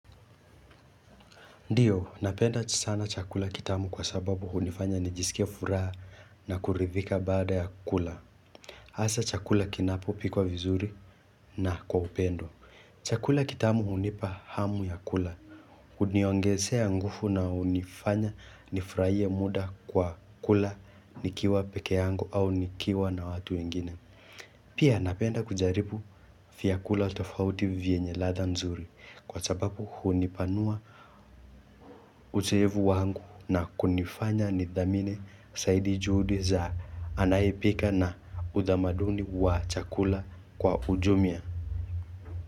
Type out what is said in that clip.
Ndiyo napenda sana chakula kitamu kwa sababu hunifanya nijiskie furaha na kuridhika baada ya kula. Hasa chakula kinapo pikwa vizuri na kwa upendo. Chakula kitamu hunipa hamu ya kula. Huniongezea nguvu na hunifanya nifurahie muda kwa kula nikiwa pekee yangu au nikiwa na watu wengine. Pia napenda kujaribu vyakula tofauti vyenye latha nzuri, kwa sababu hunipanua ucheevu wangu na kunifanya ni dhamini zaidi juhudi za anayepika na udhamaduni wa chakula kwa ujumia.